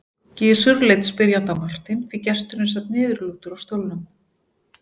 Gizur leit spyrjandi á Martein því gesturinn sat niðurlútur á stólnum.